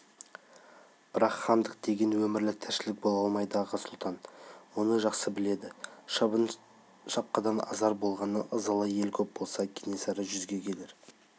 бірақ хандық деген өмірлік тіршілік бола алмайды аға сұлтан мұны жақсы біледі шабын-шапқыдан азар болған ызалы ел көп болса кенесары жүзге келер